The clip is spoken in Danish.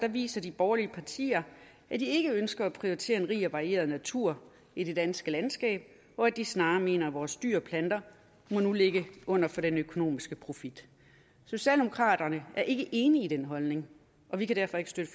viser de borgerlige partier at de ikke ønsker at prioritere en rig og varieret natur i det danske landskab og at de snarere mener at vores dyr og planter nu må ligge under for den økonomiske profit socialdemokraterne er ikke enig i den holdning og vi kan derfor ikke støtte